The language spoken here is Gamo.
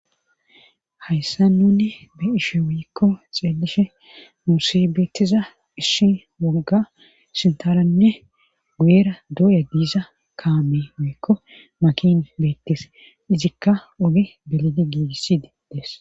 hayssa nunne be ishe wiikko xeelishe muusibeetiza ishi wogga sintaranne guyera dooya giiza kaame wiikko makin beettis izikka ogi belidi giigissididees